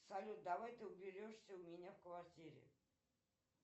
салют давай ты уберешься у меня в квартире